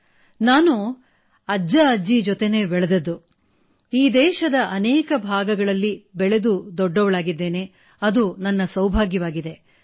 ಅಂದಹಾಗೆ ನಾನು ನನ್ನ ತಾಯಿಯ ಅಪ್ಪಅಮ್ಮನ ಮತ್ತು ತಂದೆಯ ತಾಯಿಯ ಅಜ್ಜಅಜ್ಜಿಯರ ಜೊತೆಯಲ್ಲಿ ಈ ದೇಶದ ಅನೇಕ ಭಾಗಗಳಲ್ಲಿ ಬೆಳೆದು ದೊಡ್ಡವಳಾಗಿರುವುದು ನನ್ನ ಸೌಭಾಗ್ಯವಾಗಿದೆ